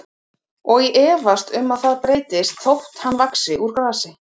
Og ég efast um að það breytist þótt hann vaxi úr grasi.